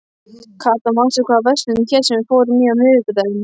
Kata, manstu hvað verslunin hét sem við fórum í á miðvikudaginn?